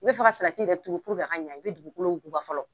N'i bɛ ka yɛrɛ turu a ka ɲɛ i bɛ dugukolo wuguba fɔlɔ.